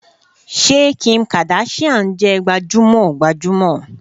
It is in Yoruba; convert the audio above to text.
Ṣé Kim Kardashian jẹ gbajúmọ̀ gbajúmọ̀